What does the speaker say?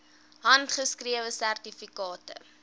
handgeskrewe sertifikate